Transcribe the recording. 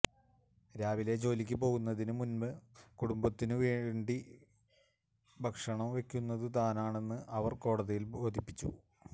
രാവിലെ ജോലിക്കു പോകുന്നതിനു മുൻപ് മുഴുവൻ കുടുംബത്തിനും വേണ്ടി ഭക്ഷണം വയ്ക്കുന്നതു താനാണെന്ന് അവർ കോടതിയെ ബോധിപ്പിച്ചു